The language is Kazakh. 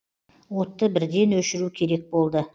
отты бірден өшіру керек болды